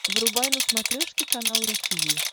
врубай на смотрешке канал ру ти ви